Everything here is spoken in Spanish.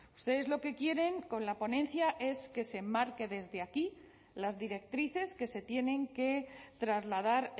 ustedes lo que quieren con la ponencia es que se enmarquen desde aquí las directrices que se tienen que trasladar